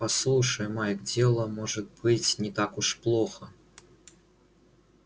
послушай майк дело может быть не так уж плохо